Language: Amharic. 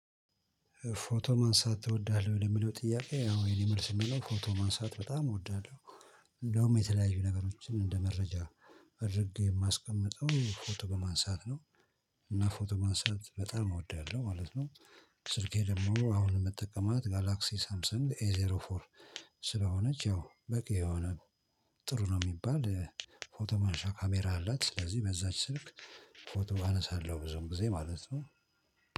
ፎቶ ማንሳት ትወዳለህ ወይ የሚለው ጥያቄ? አዎ የኔ መልስ የሚሆነው ፎቶ ማንሳት በጣም እወዳለሁ። እንደውም የተለያዩ ነገሮችን እንደ መረጃ እድርጌ የማስቀምጠው ፎቶ በማንሳት ነው። እና ፎቶ ማንሳት በጣም እወዳለሁ ማለት ነው። ስልኬ ደግሞ አሁን የምጠቀማት ጋላክሲ ሳምሰንግ ኤ ዜሮ ፎር ስለሆነች ያው በቂ የሆነ ጥሩ ነው የሚባል ፎቶ ማንሻ ካሜራ አላት። ስለዚህ በዛች ስልክ ፎቶ አነሳለሁ ብዙም ጊዜ ማለት ነው